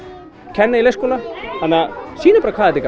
kenna í leikskóla sýnum bara hvað þetta